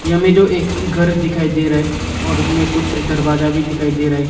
हमें जो एक घर दिखाई दे रहा है और उसमें कुछ दरवाजा भी दिखाई दे रहा है।